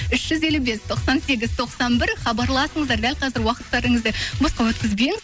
үш жүз елу бес тоқсан сегіз тоқсан бір хабарласыңыздар дәл қазір уақыттарыңызды босқа өткізбеңіз